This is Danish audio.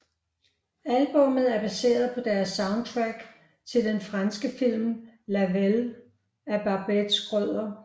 Albummet er baseret på deres soundtrack til den franske film La Vallée af Barbet Schroeder